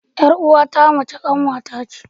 Ƴar'uwa ta mace kanwar ka ce.